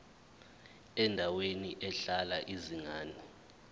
endaweni ehlala izingane